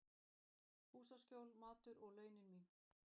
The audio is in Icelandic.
Húsaskjól, matur og launin mín.